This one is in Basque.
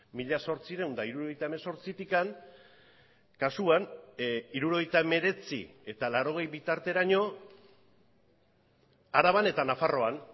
mila zortziehun eta hirurogeita hemezortzitik kasuan hirurogeita hemeretzi eta laurogei bitarteraino araban eta nafarroan